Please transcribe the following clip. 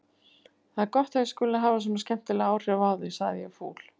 Það er gott að ég skuli hafa svona skemmtileg áhrif á þig sagði ég fúl.